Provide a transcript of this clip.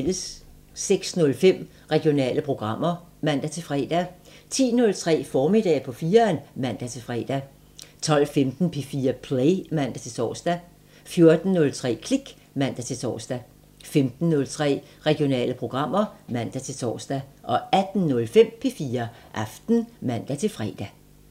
06:05: Regionale programmer (man-fre) 10:03: Formiddag på 4'eren (man-fre) 12:15: P4 Play (man-tor) 14:03: Klik (man-tor) 15:03: Regionale programmer (man-tor) 18:05: P4 Aften (man-fre)